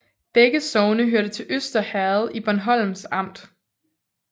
Begge sogne hørte til Øster Herred i Bornholms Amt